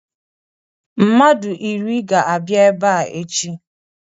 Mmadụ iri ga-abịa ebe a echi.